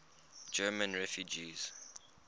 german refugees